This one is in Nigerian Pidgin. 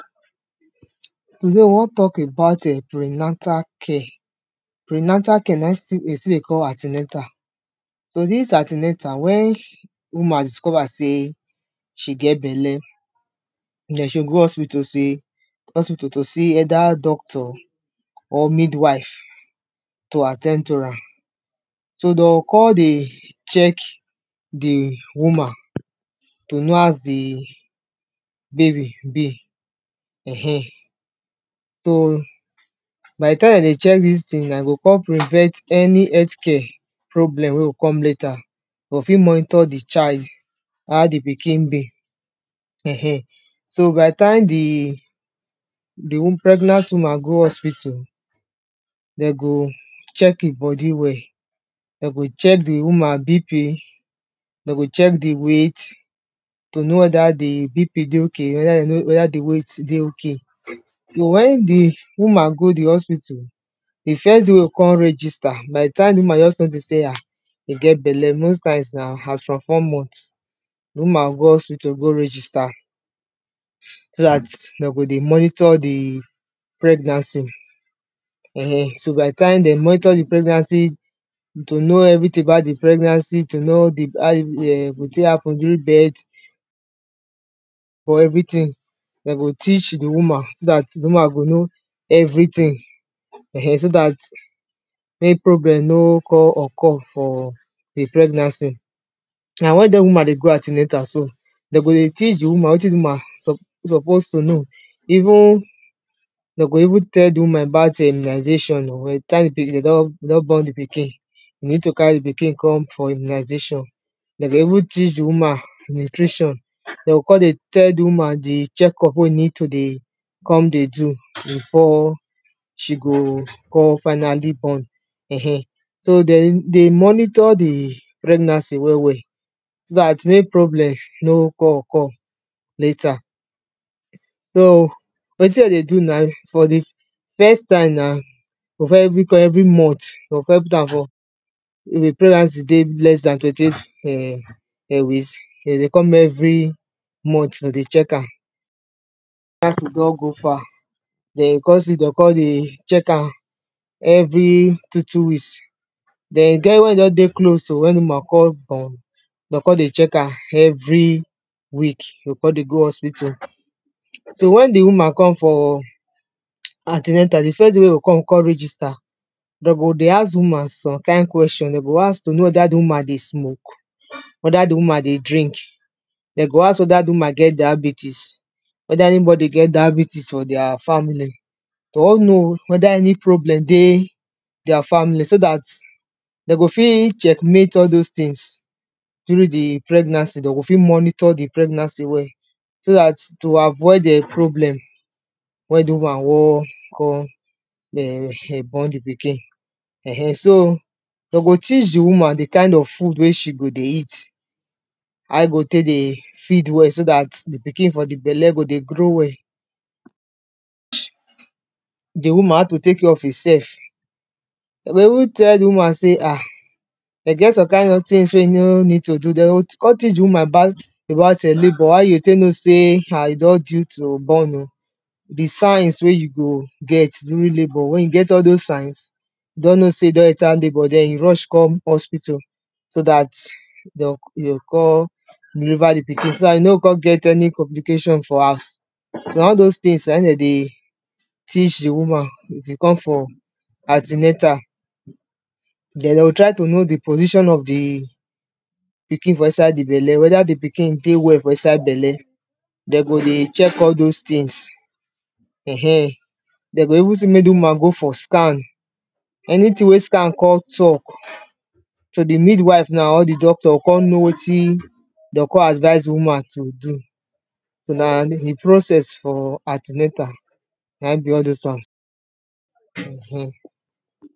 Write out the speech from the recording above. today, we wan tok about[um]prenatal care prenatal care na in still de still dey call anti-natal so dis anti-natal when woman discover sey she get belle den she go go hospital sey hospital to see either doctor or mid-wife to at ten d to am so doh con dey check di woman to know as the baby be um so by the time dem dey check dis ting na, he go con prevent any health care problem wey go come later doh fi monitor the child how the pikin be um so by the time the the pregnant woman go hospital de go check e body well de go check the woman BP dem go check the weight to know wether the BP dey ok, wether dey no, wether the weight dey ok so when the woman go the hospital the first day wey go con register by the time the woman just tell dem sey ah he get belle, most times na, as from four months the woman go go hospital go register so dat dem go dey monitor the pregnancy um, so by the time dem monitor the pregnancy to know everyting about the pregnancy, to know the how e go tey happen during birth for everyting dem go teach the woman, so dat, the woman go know everyting um, so dat may problem no con occur for the pregnancy so na when dat woman dey go anti-natal so dem go dey teach the woman wetin the woman sup suppose to know even dem go even tell the woman about um immunization um by the time the pikin, de don born the pikin you need to carry the pikin come for immunization dem go even teach the woman nutrition de go con dey tell the woman the check up wey need to dey come dey do before she go con finally born um so dem dey monitor the pregnancy well well so dat mek problem no con occur later so wetin dem dey do na first time every come every month dey go com put am for if the pregnancy dey less than twenty eight um weeks dem dey come every month to dey check am as you don go far dey go con see doh con dey check am every two two weeks den, he get when he don dey close to when the woman go con born doh con dey check am, every week, yoh con dey go hospital so when the woman come for anti-natal, the first day wey he go come con register de go dey ask the woman some kind question, dem go ask to know wether the woman dey smoke wether the woman dey drink dem go ask wether the woman get diabetes wether anybody get diabetes for dia family de wan know wether any problem dey dia family, so dat de go fi check mate all dose tings during the pregnancy, dem go fit monitor the pregnancy well so dat to avoid[um]problem when the woman wan con um, born the pikin um, so dem go teach the woman, the kind of food wey she go dey eat how he go tey dey feed well, so dat, the pikin for the belle go dey grow well the woman how to take care of in sef dem go even tell the woman sey ah dem get some kind of tings wey no need to do, de o con teach the woman about about um labour, how you go tey know sey ah, he don due to born o the signs wey you go get during labour, when you get all dose signs doh know sey you don enter labour, den you rush come hospital so dat doh doh con deliver the pikin, so dat you no con get any complication for house na all dose tings na den dey teach the woman if you come for anti-natal den de go try to know the position of the pikin for inside the belle, wether the pikin dey well for inside belle de go dey check all dose tings um dem go even sey mek the woman go for scan anyting wey scan con tok so the mid-wife and all the doctor go con know wetin doh con advise the woman to do so na the process for anti-natal na in be all dose one um